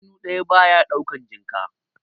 Hannu ɗaya ba ya ɗaukan jinka.